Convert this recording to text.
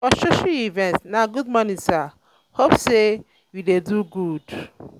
for social um event na good morning sir hope um say um you dey do good?